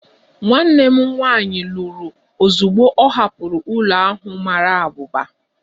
Nwanne m nwanyị lụrụ ozugbo ọ hapụrụ ụlọ ahụ mara abụba